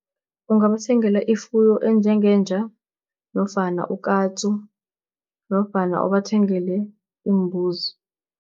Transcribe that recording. Ungabathengela ifuyo enjengenja nofana ukatsu, nofana ubathengele iimbuzi.